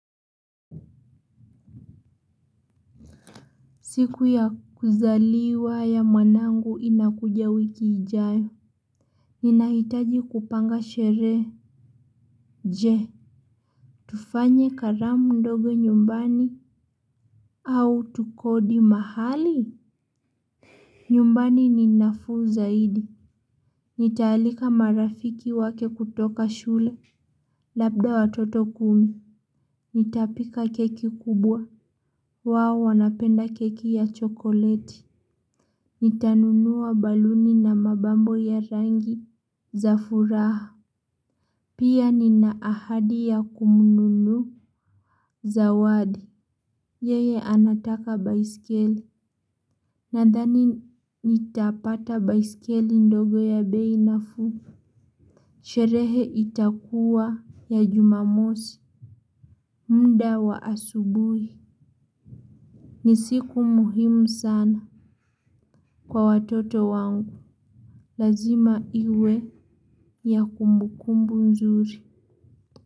Siku ya kuzaliwa ya mwanangu inakuja wiki ijayo. Ninahitaji kupanga sherehe. Tufanye karamu ndogo nyumbani au tukodi mahali. Nyumbani ni nafuu zaidi. Nitaalika marafiki wake kutoka shule. Labda watoto kumi. Nitapika keki kubwa. Wao wanapenda keki ya chokoleti. Nitanunua baluni na mapambo ya rangi. Za furaha. Pia nina ahadi ya kumnunulia Zawadi. Yeye anataka baiskeli. Nadhani nitapata baiskeli ndogo ya bei nafuu. Sherehe itakuwa ya jumamosi muda wa asubuhi. Ni siku muhimu sana. Kwa watoto wangu lazima iwe ya kumbukumbu nzuri.